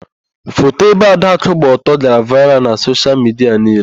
Foto ebe Adakụ gbaa ọtọ gara vaịral na soshial midia niile.